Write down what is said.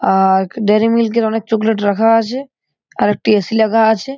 আক dairy milk -এর অনেক চকলেট রাখা আছে আর একটি এ.সি লেগা আছে।